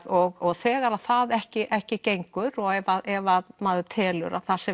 og þegar það ekki ekki gengur ef maður telur að það sé